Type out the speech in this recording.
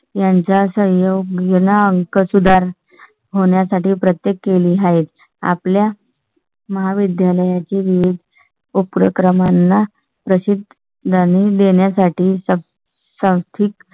यांच्या सहयोग गेला. अंक सुधार होण्या साठी प्रत्येक केली आहेत आपल्या. महाविद्यालया चे विविध उपक्रमांना प्रसिद्ध गाणी देण्यासाठी सांस्कृतिक,